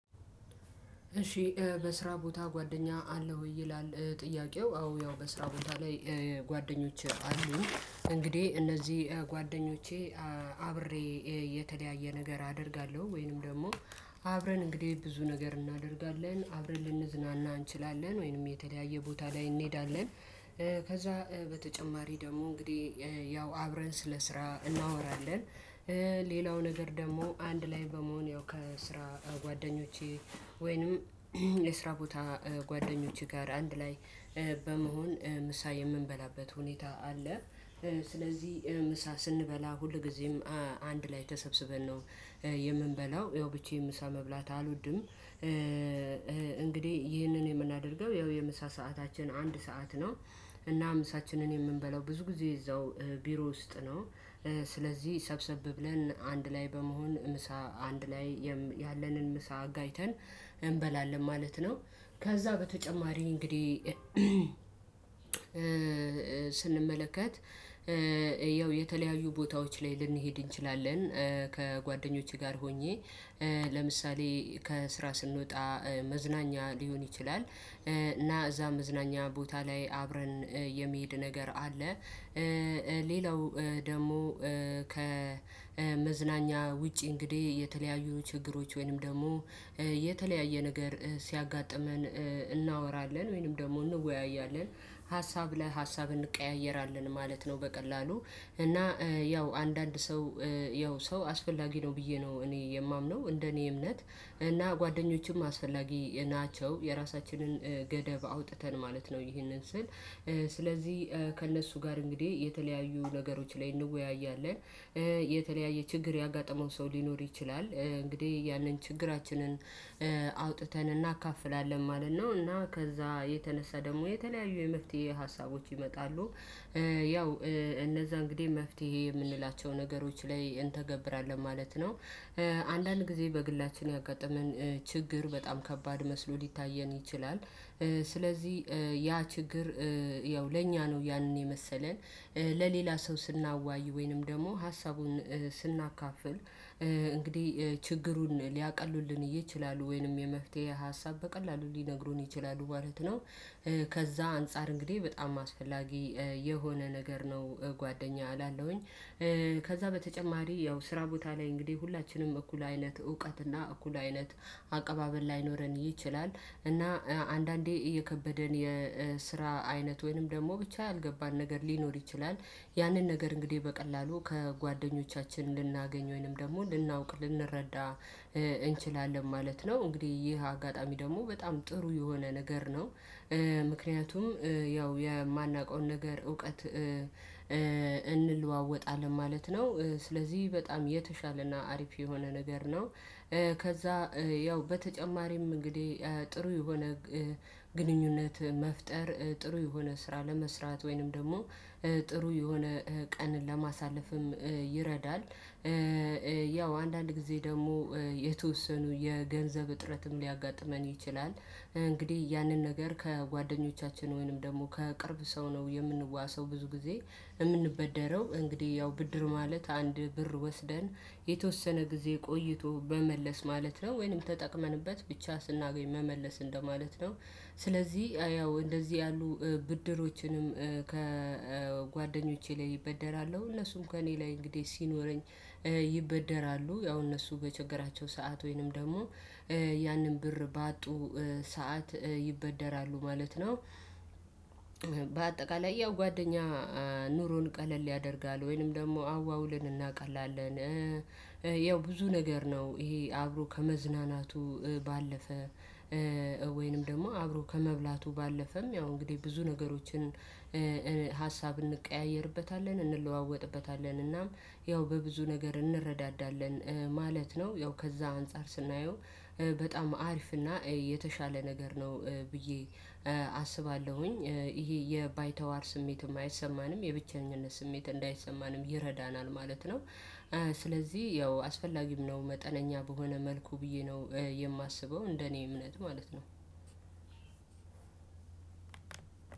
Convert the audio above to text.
እሺ በስራ ቦታ ጓደኛ አለህ ወይ? ይላል ጥያቄው አዎ ያው በስራ ቦታ ላይ ጓደኞች አሉኝ። እንግዲህ እነዚህ ጓደኞቼ አብሬ የተለያየ ነገር አደርጋለሁ ወይንም ደግሞ አብረን እንግዲህ ብዙ ነገር እናደርጋለን አብረን ልንዝናና እንችላለን ወይንም የተለያየ ቦታ ላይ እንሄዳለን። ከዛ በተጨማሪ ደግሞ እንግዲህ ያው አብረን ስለ ስራ እናወራለን። ሌላው ነገር ደግሞ አንድ ላይ በመሆን ያው ከስራ ጓደኞቼ ወይንም የስራ ቦታ ጓደኞቼ ጋር አንድ ላይ በመሆን ምሳ የምንበላበት ሁኔታ አለ። ስለዚህ ምሳ ስንበላ ሁልጊዜም አንድ ላይ ተሰብስበን ነው የምንበላው ያው ብቻዬን ምሳ መብላት አልወድም እንግዲህ ይህንን የምናደርገው ያው የምሳ ሰዓታችን አንድ ሰዓት ነው። እና ምሳችንን የምንበላው ብዙ ጊዜ እዛው ቢሮ ውስጥ ነው። ስለዚህ ሰብሰብ ብለን አንድ ላይ በመሆን ምሳ አንድ ላይ ያለንን ምሳ አጋይተን እንበላለን ማለት ነው። ከዛ በተጨማሪ እንግዲህ ስንመለከት ያው የተለያዩ ቦታዎች ላይ ልንሄድ እንችላለን። ከጓደኞቼ ጋር ሆኜ ለምሳሌ ከስራ ስንወጣ መዝናኛ ሊሆን ይችላል እና እዛ መዝናኛ ቦታ ላይ አብረን የመሄድ ነገር አለ። ሌላው ደግሞ ከመዝናኛ ውጪ እንግዲህ የተለያዩ ችግሮች ወይንም ደግሞ የተለያየ ነገር ሲያጋጥመን እናወራለን ወይንም ደግሞ እንወያያለን ሀሳብ ለሀሳብ እንቀያየራለን ማለት ነው። በቀላሉ እና ያው አንዳንድ ሰው ያው ሰው አስፈላጊ ነው ብዬ ነው እኔ የማምነው እንደኔ እምነት እና ጓደኞችም አስፈላጊ ናቸው። የራሳችንን ገደብ አውጥተን ማለት ነው ይህንን ስል ስለዚህ ከእነሱ ጋር እንግዲህ የተለያዩ ነገሮች ላይ እንወያያለን። የተለያየ ችግር ያጋጠመው ሰው ሊኖር ይችላል እንግዲህ ያንን ችግራችንን አውጥተን እናካፍላለን ማለት ነው። እና ከዛ የተነሳ ደግሞ የተለያዩ የመፍትሄ ሀሳቦች ይመጣሉ። ያው እነዛ እንግዲህ መፍትሄ የምንላቸው ነገሮች ላይ እንተገብራለን ማለት ነው። አንዳንድ ጊዜ በግላችን ያጋጠመን ችግር በጣም ከባድ መስሎ ሊታየን ይችላል። ስለዚህ ያ ችግር ያው ለእኛ ነው ያንን የመሰለን ለሌላ ሰው ስናዋይ ወይንም ደግሞ ሀሳቡን ስናካፍል እንግዲህ ችግሩን ሊያቀሉልን ይችላሉ ወይንም የመፍትሄ ሀሳብ በቀላሉ ሊነግሩን ይችላሉ ማለት ነው። ከዛ አንፃር እንግዲህ በጣም አስፈላጊ የሆነ ነገር ነው ጓደኛ እላለሁኝ። ከዛ በተጨማሪ ያው ስራ ቦታ ላይ እንግዲህ ሁላችንም እኩል አይነት እውቀት እና እኩል አይነት አቀባበል ላይኖረን ይችላል እና አንዳንዴ የከበደን የስራ አይነት ወይንም ደግሞ ብቻ ያልገባን ነገር ሊኖር ይችላል። ያንን ነገር እንግዲህ በቀላሉ ከጓደኞቻችን ልናገኝ ወይንም ደግሞ ልናውቅ ልንረዳ እንችላለን ማለት ነው። እንግዲህ ይህ አጋጣሚ ደግሞ በጣም ጥሩ የሆነ ነገር ነው። ምክንያቱም ያው የማናውቀውን ነገር እውቀት እንለዋወጣለን ማለት ነው። ስለዚህ በጣም የተሻለና አሪፍ የሆነ ነገር ነው። ከዛ ያው በተጨማሪም እንግዲህ ጥሩ የሆነ ግንኙነት መፍጠር ጥሩ የሆነ ስራ ለመስራት ወይንም ደግሞ ጥሩ የሆነ ቀንን ለማሳለፍም ይረዳል። ያው አንዳንድ ጊዜ ደግሞ የተወሰኑ የገንዘብ እጥረትም ሊያጋጥመን ይችላል እንግዲህ ያንን ነገር ከጓደኞቻችን ወይንም ደግሞ ከቅርብ ሰው ነው የምንዋሰው ብዙ ጊዜ የምንበደረው እንግዲህ ያው ብድር ማለት አንድ ብር ወስደን የተወሰነ ጊዜ ቆይቶ መመለስ ማለት ነው። ወይንም ተጠቅመንበት ብቻ ስናገኝ መመለስ እንደማለት ነው። ስለዚህ ያው እንደዚህ ያሉ ብድሮችንም ከጓደኞቼ ላይ እበደራለው እነሱም ከእኔ ላይ እንግዲህ ሲኖረኝ ይበደራሉ ያው እነሱ በቸገራቸው ሰዓት ወይንም ደግሞ ያንን ብር ባጡ ሰዓት ይበደራሉ ማለት ነው። በአጠቃላይ ያው ጓደኛ ኑሮን ቀለል ያደርጋል ወይንም ደግሞ አዋውልን እናውቃለን። ያው ብዙ ነገር ነው ይሄ አብሮ ከመዝናናቱ ባለፈ ወይንም ደግሞ አብሮ ከመብላቱ ባለፈም ያው እንግዲህ ብዙ ነገሮችን ሀሳብ እንቀያየርበታለን እንለዋወጥበታለን እናም ያው በብዙ ነገር እንረዳዳለን ማለት ነው። ያው ከዛ አንፃር ስናየው በጣም አሪፍ እና የተሻለ ነገር ነው። ብዬ አስባለሁኝ። ይሄ የባይተዋር ስሜት አይሰማንም የብቸኝነት ስሜት እንዳይሰማንም ይረዳናል ማለት ነው። ስለዚህ ያው አስፈላጊም ነው መጠነኛ በሆነ መልኩ ብዬ ነው የማስበው እንደኔ እምነት ማለት ነው።